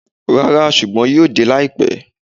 Rara, ṣugbọn yoo de laipẹ.